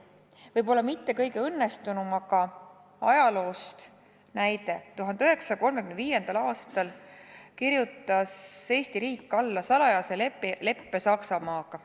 Toon ajaloost näite, võib-olla mitte kõige õnnestunuma: 1935. aastal kirjutas Eesti riik alla salajase leppe Saksamaaga.